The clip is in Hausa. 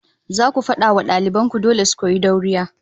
Zaku fada wa daliban ku dole su koyi dauriya